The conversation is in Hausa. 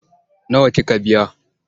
Nawa kika biya?